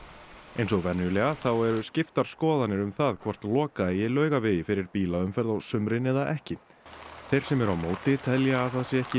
eins og venjulega eru skiptar skoðarnir um það hvort loka eigi Laugavegi fyrir bílaumferð á sumrin eða ekki þeir sem eru á móti telja að ekki